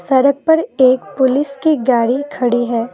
सड़क पर एक पुलिस की गाड़ी खड़ी है ।